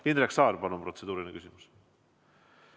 Indrek Saar, palun, protseduuriline küsimus!